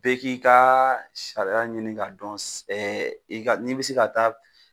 Bɛɛ k'i ka sariya ɲini ka dɔn si ɛ i ga ni be se ka taa